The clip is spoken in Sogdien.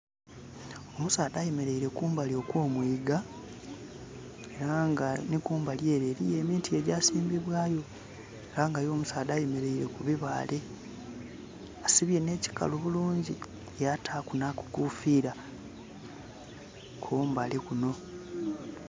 omusaadha ayemereire kumbali okw' omwiga, ere nga nhi kumbali ere eriyo emiti egyasimbibwayo. Era nga ye omusaadha ayemereire ku bibaale, asibye nh'ekikalu bulungi yataaku nha kakofira kumbali kunho.